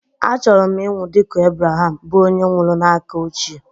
Achọrọ m ịnwụ dị ka Ebreham, bụ́ onye nwụrụ n'aka ochie